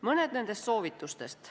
Mõned nendest soovitustest.